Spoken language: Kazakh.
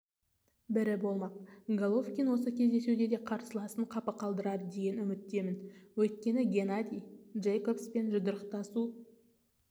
бірі болмақ головкин осы кездесуде де қарсыласын қапы қалдырады деген үміттемін өйткені геннадий джейкобспен жұдырықтасу